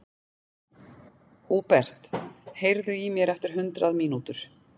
Húbert, heyrðu í mér eftir hundrað mínútur.